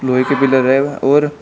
लोहे के पिलर है और--